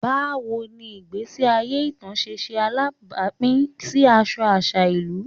Bawo ni igbesi aye ita ṣe ṣe alabapin si aṣọ aṣa ilu?